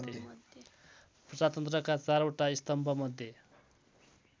प्रजातन्त्रका चारवटा स्तम्भमध्ये